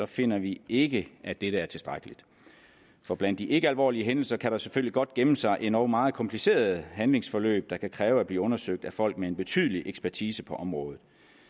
finder vi ikke dette er tilstrækkeligt for blandt de ikkealvorlige hændelser kan der selvfølgelig godt gemme sig endog meget komplicerede handlingsforløb der kan kræve at blive undersøgt af folk med en betydelig ekspertise på området